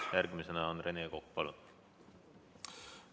Järgmisena on Rene Kokk, palun!